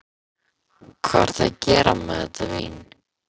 Hvað ertu að gera með þetta vín?